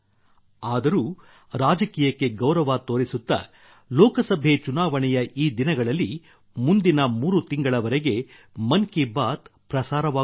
ಆದರೂ ರಾಜಕೀಯಕ್ಕೆ ಗೌರವ ತೋರಿಸುತ್ತಾ ಲೋಕಸಭೆ ಚುನಾವಣೆಯ ಈ ದಿನಗಳಲ್ಲಿ ಮುಂದಿನ ಮೂರು ತಿಂಗಳವರೆಗೆ ಮನ್ ಕಿ ಬಾತ್ ಪ್ರಸಾರವಾಗುವುದಿಲ್ಲ